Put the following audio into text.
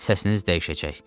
Səsiniz dəyişəcək.